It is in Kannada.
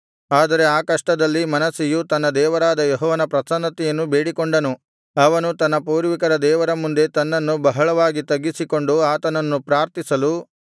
ಆದರೆ ಆ ಕಷ್ಟದಲ್ಲಿ ಮನಸ್ಸೆಯು ತನ್ನ ದೇವರಾದ ಯೆಹೋವನ ಪ್ರಸನ್ನತೆಯನ್ನು ಬೇಡಿಕೊಂಡನು ಅವನು ತನ್ನ ಪೂರ್ವಿಕರ ದೇವರ ಮುಂದೆ ತನ್ನನ್ನು ಬಹಳವಾಗಿ ತಗ್ಗಿಸಿಕೊಂಡು ಆತನನ್ನು ಪ್ರಾರ್ಥಿಸಲು